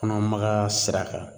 Kɔnɔmagaya sira kan